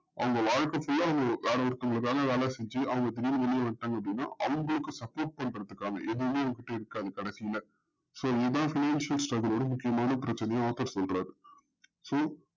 அவங்க வாழ்க்க full ல வேற ஒருத்தவங்களுக்காக வேல செஞ்சு அவங்க திடீர்னு வெளில வன்டாங்க அப்டின்ன அவங்களுக்க support பண்றதுக்காக எதுமே அவங்கள்ட இருக்காது கடைசில இதையே முக்கியமான பிரச்சனையா சொல்றாரு so